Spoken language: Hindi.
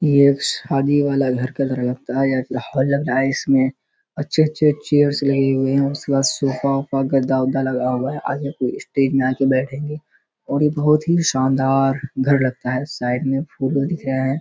ये एक शादी वाला घर का घर लगता है या फिर हॉल लग रहा है। इसमें अच्छे-अच्छे चेयर्स लगे हुए हैं। उसके बाद सोफ़ा उफ़ा गद्दा-उद्दा लगा हुआ है। आधे लोग स्टेज में आके बैठें हैं और ये बहुत ही शानदार घर लगता है और साइड में फूल-उल है।